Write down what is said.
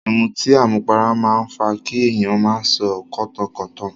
Ìmutí àmupara máa ń fa kí èyàn máa sọ kọ́tankọ̀tan.